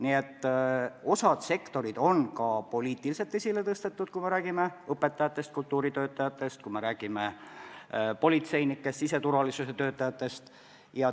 Nii et osa sektoreid on poliitiliselt esile tõstetud: me räägime õpetajatest, kultuuritöötajatest, me räägime politseinikest, siseturvalisuse töötajatest.